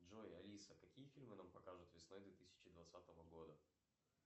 джой алиса какие фильмы нам покажут весной две тысячи двадцатого года